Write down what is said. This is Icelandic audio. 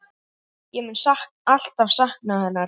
Ég mun alltaf sakna hennar.